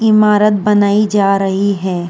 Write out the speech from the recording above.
इमारत बनाई जा रही है।